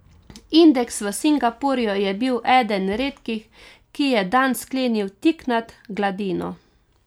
Indeks v Singapurju je bil eden redkih, ki je dan sklenil tik nad gladino.